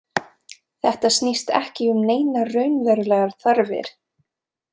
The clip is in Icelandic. Þetta snýst ekki um neinar raunverulegar þarfir.